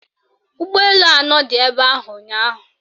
Ụgbọelu anọ dị ebe ahụ ụnyaahụ